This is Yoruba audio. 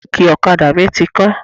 Kíìkì ọ̀kadà mi ti kán.